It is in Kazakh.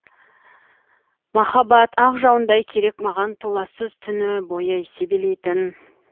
маһаббат ақ жауындай керек маған толассыз түні бойы себелейтін